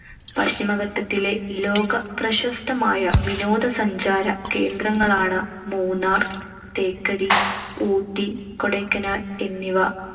പശ്ചിമഘട്ടത്തിലെ ലോകപ്രശസ്തമായ വിനോദസഞ്ചാര കേന്ദ്രങ്ങളാണ് മൂന്നാർ, തേക്കടി, ഊട്ടി, കൊടൈക്കനാൽ എന്നിവ.